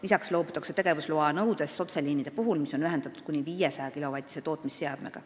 Lisaks loobutakse tegevusloa nõudest otseliinide puhul, mis on ühendatud kuni 500-kilovatise tootmisseadmega.